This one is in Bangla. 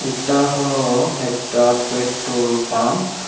এটা হল একটা পেট্রোল পাম্প ।